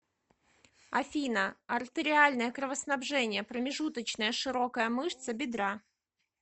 афина артериальное кровоснабжение промежуточная широкая мышца бедра